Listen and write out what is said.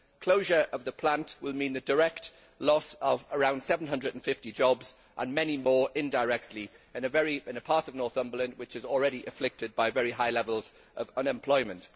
Closure of the plant will mean the direct loss of around 750 jobs and many more indirectly in a part of Northumberland which is already afflicted by very high levels of unemployment.